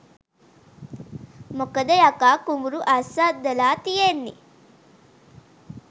මොකද යකා කුඹුරු අස්වද්දලා තියෙන්නේ